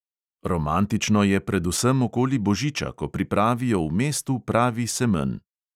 Romantično je predvsem okoli božiča, ko pripravijo v mestu pravi semenj.